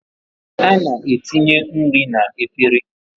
A na-etinye nri n'efere